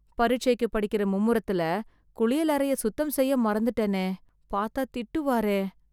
பரிட்சைக்கு படிக்கற மும்முரத்துல, குளியலறைய சுத்தம் செய்ய மறந்துட்டேனே... பாத்தா திட்டுவாரே...